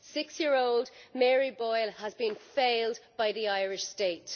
Six year old Mary Boyle has been failed by the Irish State.